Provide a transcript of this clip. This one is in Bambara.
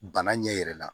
Bana ɲɛ yɛrɛ la